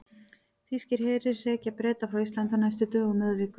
Þýskir herir hrekja Breta frá Íslandi á næstu dögum eða vikum.